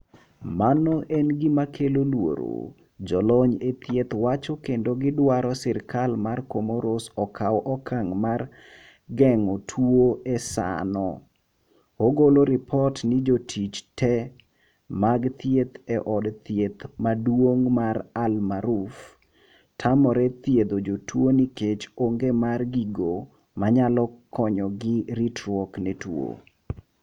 "mano en gima kelo luoro "jolony e thieth wacho kendo gidwaro serkal ma komoros okaw okang' mar geng'o tuono e saano, ogolo ripot ni jotich te mag thieth e od thieth maduong' mar AL Maarouf tamore thiedho jotuo nikech onge mar gigo manayalo konyogi ritruwok ne tuo.